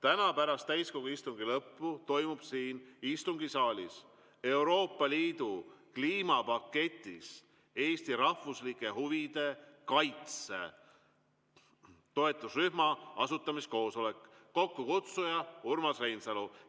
Täna pärast täiskogu istungi lõppu toimub siin istungisaalis Euroopa Liidu kliimapaketis Eesti rahvuslike huvide kaitse toetusrühma asutamiskoosolek, kokkukutsuja on Urmas Reinsalu.